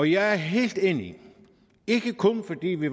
jeg er helt enig ikke kun fordi vi